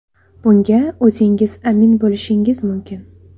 Bunga o‘zingiz amin bo‘lishingiz mumkin.